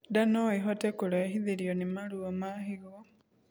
Ndaa noĩhote kurehithirio ni maruo ma higo